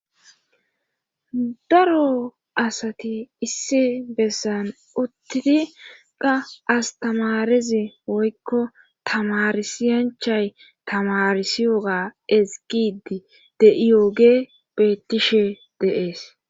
Daro asati issi besan utidi qa astamarezi woykko tamarisiyay tamarisiyoga ezgidi de'iyoge beetishe de'ees.